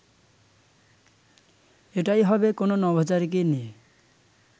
এটাই হবে কোনো নভোচারীকে নিয়ে